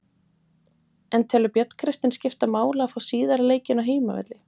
En telur Björn Kristinn skipta máli að fá síðari leikinn á heimavelli?